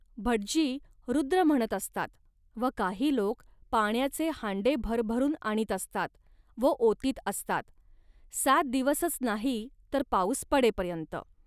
भटजी रुद्र म्हणत असतात व काही लोक पाण्याचे हांडे भरभरून आणीत असतात व ओतीत असतात. सात दिवसच नाही, तर पाऊस पडेपर्यंत